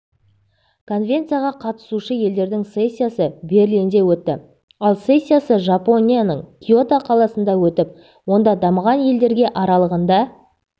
конвенцияға қатысушы елдердің сессиясы берлинде өтті ал сессиясы жапонияның киото қаласында өтіп онда дамыған елдерге аралығында